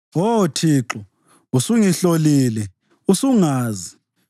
Oh Thixo, usungihlolile usungazi.